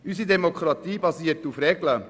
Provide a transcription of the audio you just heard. Unsere Demokratie basiert auf Regeln.